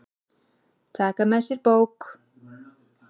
Taka með sér bók.